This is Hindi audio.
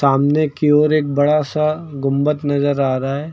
सामने की ओर एक बड़ा सा गुंबद नजर आ रहा है।